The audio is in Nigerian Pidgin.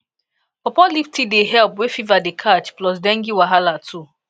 pawpaw leaf tea dey help wey fever dey catch plus dengue wahala too